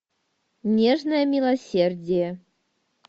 нежное милосердие